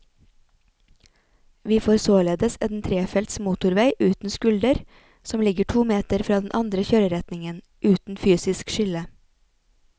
Vi får således en trefelts motorvei uten skulder som ligger to meter fra den andre kjøreretningen, uten fysisk skille.